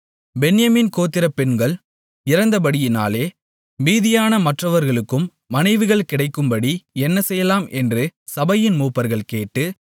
பென்யமீன் கோத்திர பெண்கள் இறந்தபடியினாலே மீதியான மற்றவர்களுக்கும் மனைவிகள் கிடைக்கும்படி என்ன செய்யலாம் என்று சபையின் மூப்பர்கள் கேட்டு